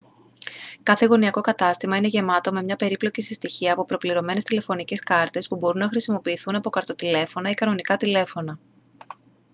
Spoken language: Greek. κάθε γωνιακό κατάστημα είναι γεμάτο με μια περίπλοκη συστοιχία από προπληρωμένες τηλεφωνικές κάρτες που μπορούν να χρησιμοποιηθούν από καρτοτηλέφωνα ή κανονικά τηλέφωνα